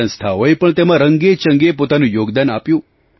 સંસ્થાઓએ પણ તેમાં રંગેચંગે પોતાનું યોગદાન આપ્યું